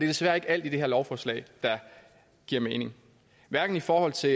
desværre ikke alt i det her lovforslag der giver mening hverken i forhold til